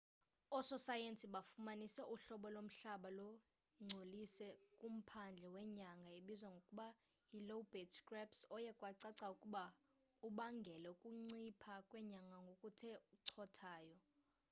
ososayensi bafumanise uhlobo lomhlaba lungcolise kumphandle wenyanga ebizwa ngokuba yi lobate scarps oye kwacaca ukuba ubangele ukuncipha kwenyanga ngokuthe cothayo